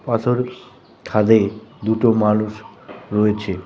পাথরের খাদে দুটো মানুষ রয়েছে।